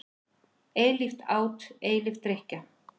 Eilíft át, eilíf drykkja.